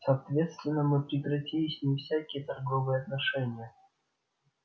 соответственно мы прекратили с ним всякие торговые отношения